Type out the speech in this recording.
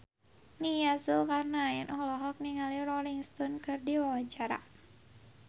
Nia Zulkarnaen olohok ningali Rolling Stone keur diwawancara